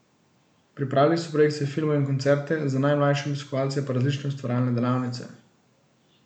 Pripravili so projekcije filmov in koncerte, za najmlajše obiskovalce pa različne ustvarjalne delavnice.